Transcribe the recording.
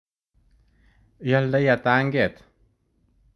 Iyoldoi ata anget?